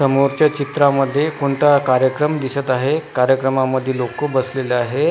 समोरच्या चित्रामध्ये कोणता कार्यक्रम दिसत आहे कार्यक्रमामध्ये लोक बसलेले आहे.